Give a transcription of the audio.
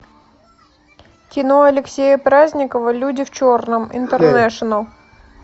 кино алексея праздникова люди в черном интернешнл